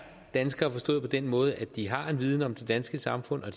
danskere forstået på den måde at de har en viden om det danske samfund og